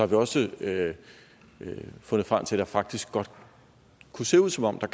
vi også fundet frem til at det faktisk godt kunne se ud som om der